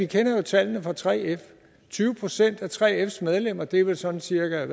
kender tallene fra 3f tyve procent af 3fs medlemmer det er vel sådan cirka